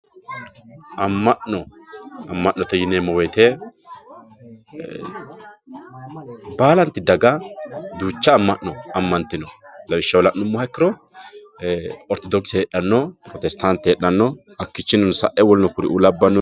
amma'no amma'note yineemmo woyiite baalanti daga duucha amma'no ammantino lawishshaho la'nummoha ikkiro ortodokise heedhanno pirotestaante heedhanno hakkiichinnino sa'e woluno kuri labbaanno